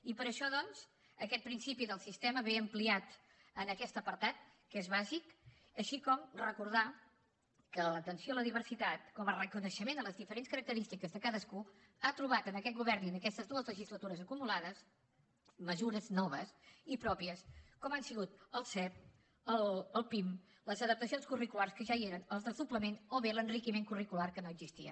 i per això doncs aquest principi del sistema ve ampliat en aquest apartat que és bàsic així com recordar que l’atenció a la diversitat com a reconeixement a les diferents característiques de cadascú ha trobat en aquest govern i en aquestes dues legislatures acumulades mesures noves i pròpies com han sigut el sep el pim les adaptacions curriculars que ja hi eren el desdoblament o bé l’enriquiment curricular que no existia